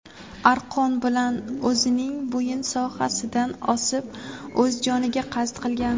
arqon bilan o‘zining bo‘yin sohasidan osib o‘z joniga qasd qilgan.